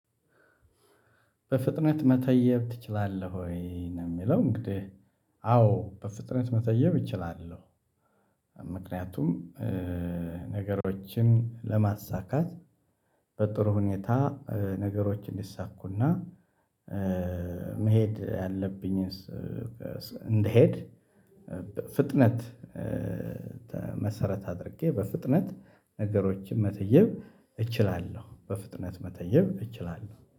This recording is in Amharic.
በፍጥነት መተየብ ትችላለህ ወይ ነው? የሚለው እንግዲህ አዎ በፍጥነት መተየብ እችላለሁ። ምክንያቱም ነገሮችን ለማሳካት በጥሩ ሁኔታ ነገሮችን እንዲሳኩ እና መሄድ ያለብኝን ያለብኝስ እንድሄድ በፍጥነት መሰረት አድርጌ በፍጥነት ነገሮችን መተየብ እችላለሁ። በፍጥነት መተየብ እችላለሁ